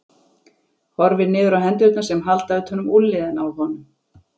Horfir niður á hendurnar sem halda utan um úlnliðina á honum.